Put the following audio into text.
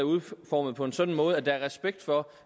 udformet på en sådan måde at der er respekt for